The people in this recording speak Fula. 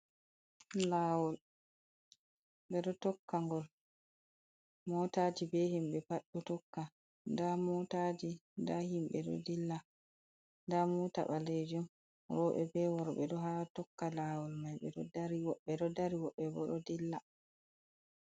Laawol. Ɓe ɗo tokka ngol motaji be himɓe pat ɗo tokka, nda motaji, nda himɓe ɗo dilla, nda mota ɓaleejum, rooɓe, be worɓe ɗo haa tokka laawol mai, ɓe ɗo dari woɓɓe ɗo dari, woɓɓe bo ɗo dilla.